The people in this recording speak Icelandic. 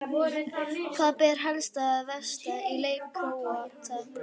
Hvað ber helst að varast í leik Króata?